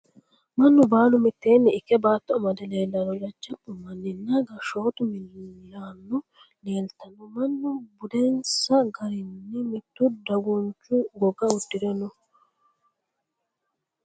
mannu baalu mitteenni ikke baatto amade leelanno, jajjabbu manni nna gashshootu miillano leeltanno, mannu budinsa garinni mitu dagunchu goga uddire no.